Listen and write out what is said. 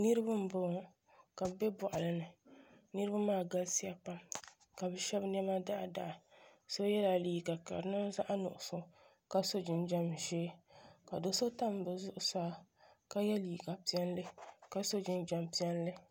Niraba n boŋo ka bi bɛ boɣali ni niraba maa galisiya pam ka bi shab niɛma daɣadaɣa so yɛla liiga ka di niŋ zaɣ nuɣso ka so jinjɛm ʒiɛ ka do do tam bi zuɣusaa ka yɛ liiga piɛlli ka so jinjɛm piɛlli